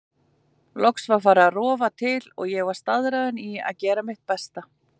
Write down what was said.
Loksins var farið að rofa til og ég var staðráðin í að gera mitt besta.